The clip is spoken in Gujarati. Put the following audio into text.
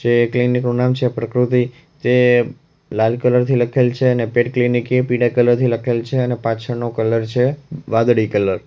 જે ક્લિનિક નું નામ છે પ્રકૃતિ તે લાલ કલર થી લખેલ છે અને પેટ ક્લિનિક ઈ પીડા કલર થી લખેલ છે અને પાછળ નો કલર છે વાદળી કલર .